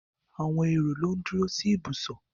Àwọn èrò ló ń duro sí ìbùsọ̀.